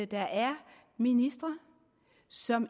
der er ministre som